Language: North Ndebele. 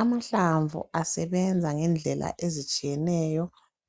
Amahlamvu asebenza ngendlela ezitshiyeneyo